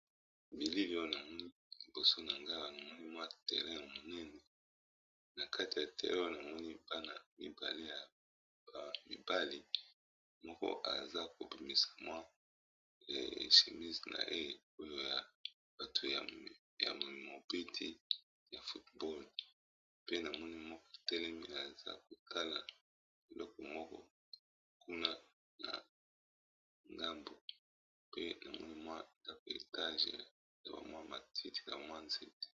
Bilili , oyo namoni liboso na nga mwa terrain, ya monene na kati ya terrain wana ! namoni, bana mibale ya ba mibali moko aza kobimisa mwa chemise naye ! oyo ya bato ya mobeti ya football , pe na moni moko batelemi aza kotala eloko moko kuna na ngambo pe namoni mwa ndako etage na bamwa matiti na kamwa nzete.